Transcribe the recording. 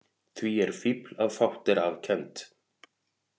Því er fífl að fátt er að kennt.